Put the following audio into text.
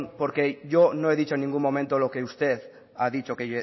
porque yo no he dicho en ningún momento lo que usted ha dicho que